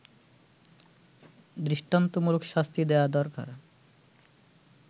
দৃষ্টান্তমূলক শাস্তি দেয়া দরকার